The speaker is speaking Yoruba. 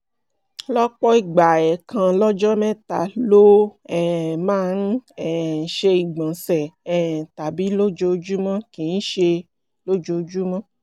lọ́pọ̀ ìgbà ẹ̀ẹ̀kan lọ́jọ́ mẹ́ta ló um máa ń um ṣe ìgbọ̀nsẹ̀ um tàbí lójoojúmọ́ kì í ṣe ojoojúmọ́